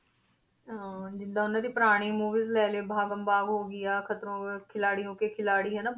ਹਾਂ ਜਿੱਦਾਂ ਉਹਨਾਂ ਦੀ ਪੁਰਾਣੀ movies ਲੈ ਲਈਏ ਭਾਗਮ ਭਾਗ ਹੋ ਗਈ ਆ, ਖਤਰੋਂ ਕੇ ਖਿਲਾਡੀਂਓ ਕੇ ਖਿਲਾਡੀ ਹਨਾ,